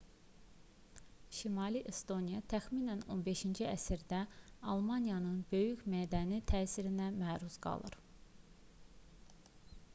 şimali estoniya təxminən 15-ci əsrdə almaniyanın böyük mədəni təsirinə məruz qalır